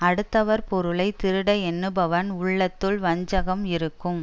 அடுத்தவர் பொருளை திருட எண்ணுபவன் உள்ளத்துள் வஞ்சகம் இருக்கும்